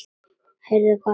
Heyrðu gott mál.